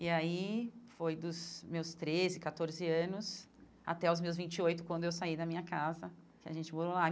E aí foi dos meus treze, catorze anos até os meus vinte e oito, quando eu saí da minha casa, que a gente morou lá.